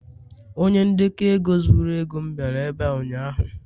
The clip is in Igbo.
onye ndekọ ego zuru ego m bịara ebe a ụnyaahụ